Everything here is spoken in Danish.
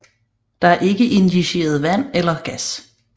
Der er ikke injiceret vand eller gas